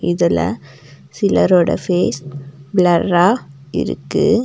இதுல சிலரோட பேஸ் ப்ளர்ரா இருக்கு.